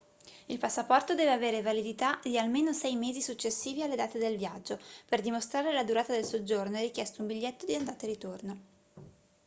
il passaporto deve avere validità di almeno 6 mesi successivi alle date del viaggio per dimostrare la durata del soggiorno è richiesto un biglietto di andata e ritorno